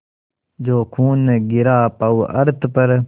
जो खून गिरा पवर्अत पर